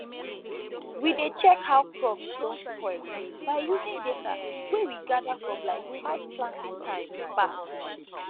we dey check how crops don spoil by using data wey we gather from like five planting time back